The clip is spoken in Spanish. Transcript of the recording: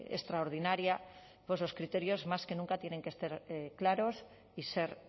extraordinaria pues los criterios más que nunca tienen que estar claros y ser